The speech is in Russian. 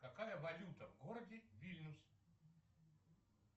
какая валюта в городе вильнюс